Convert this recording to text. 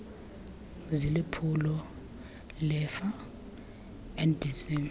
ziliphulo lerfa nbc